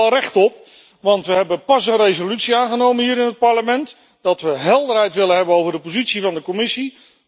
Daar hebben wij wel recht op, want we hebben pas een resolutie aangenomen hier in het Parlement dat we helderheid willen hebben over de positie van de Commissie.